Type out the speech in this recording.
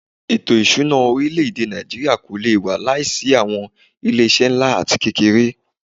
Ètò ìṣúná orílẹ̀-èdè Nàìjíríà kò lé wà láìsí awọn ilé iṣé nlá atí kékèké.